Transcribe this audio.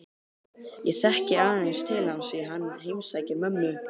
Ég þekki aðeins til hans því hann heimsækir mömmu